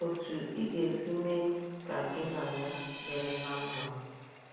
Otú ị ga - esi mee ka gị na ya dịrị ná mma.